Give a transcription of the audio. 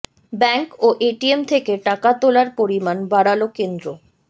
bank ও ATM থেকে টাকা তোলার পরিমাণ বাড়াল কেন্দ্র